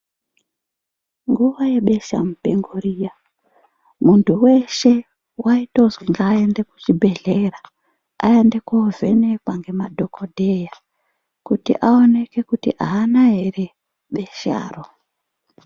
Nguva yebesha mupengo riya, muntu veshe vaitozwi ngaende kuchibhedhlera aende kovhenekwa ngemadhogodheya. Kuti aoneke kuti haana ere besharo.